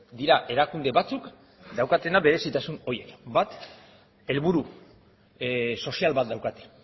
dira erakunde batzuk daukatena berezitasun horiek bat helburu sozial bat daukate